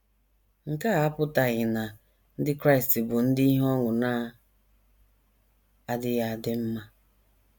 Nke a apụtaghị na Ndị Kraịst bụ ndị ihe ọṅụ na - adịghị adị mma.